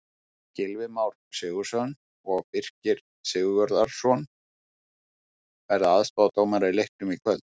Gylfi Már Sigurðsson og Birkir Sigurðarson verða aðstoðardómarar í leiknum í kvöld.